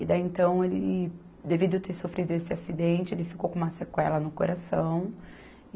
E daí então ele, devido ter sofrido esse acidente, ele ficou com uma sequela no coração.